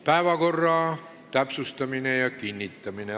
Päevakorra täpsustamine ja kinnitamine.